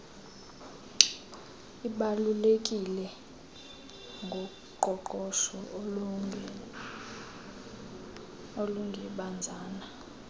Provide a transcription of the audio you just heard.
ibalulekileyo ngoqoqosho olungebanzanga